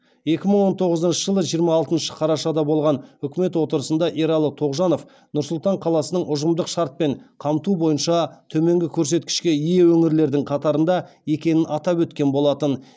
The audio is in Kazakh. екі мың он тоғызыншы жылы жиырма алтыншы қарашада болған үкімет отырысында ералы тоғжанов нұр сұлтан қаласының ұжымдық шартпен қамту бойынша төменгі көрсеткішке ие өңірлердің қатарында екенін атап өткен болатын